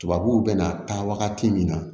Tubabuw bɛna taa wagati min na